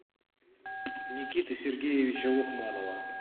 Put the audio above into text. никиты сергеевича лукманова